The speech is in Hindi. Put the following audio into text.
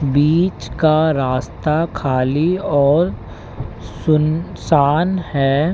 बीच का रास्ता खाली और सुनसान है।